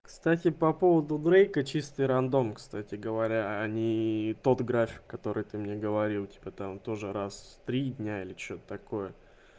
кстати по поводу дрейка чистый рандом кстати говоря а не тот график который ты мне говорил типа там тоже раз в три дня или что-то такое